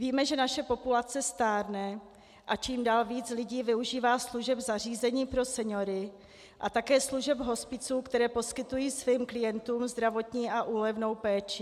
Víme, že naše populace stárne a čím dál víc lidí využívá služeb zařízení pro seniory a také služeb hospiců, které poskytují svým klientům zdravotní a úlevnou péči.